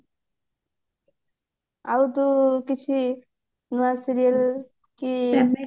ଆଉ ତୁ କିଛି ନୂଆ serial କି